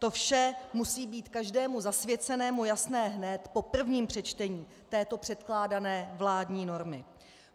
To vše musí být každému zasvěcenému jasné hned po prvním přečtení této předkládané vládní normy.